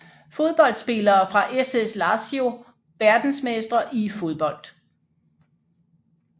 Fodboldspillere fra SS Lazio Verdensmestre i fodbold